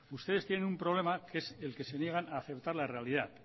ustedes tienen un problema que es el que se niegan a aceptar la realidad